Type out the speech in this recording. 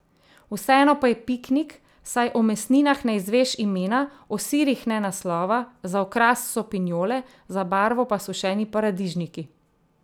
Vseeno pa je piknik, saj o mesninah ne izveš imena, o sirih ne naslova, za okras so pinjole, za barvo pa sušeni paradižniki.